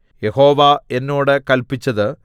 യഹോവ എന്നോട് കല്പിച്ചത്